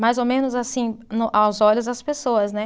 Mais ou menos assim, no aos olhos das pessoas, né?